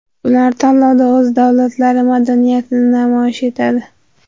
Ular tanlovda o‘z davlatlari madaniyatini namoyish etadi.